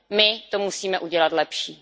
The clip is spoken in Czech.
My to musíme udělat lepší.